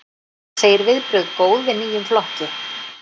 Segir viðbrögð góð við nýjum flokki